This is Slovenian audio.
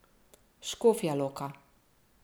Škofja Loka.